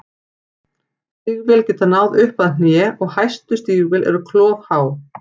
Stígvél geta náð upp að hné og hæstu stígvél eru klofhá.